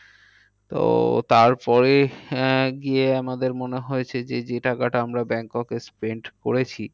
তো তার পরে আহ গিয়ে আমাদের মনে হয়েছে যে যে টাকাটা আমরা ব্যাংককে spent করেছি।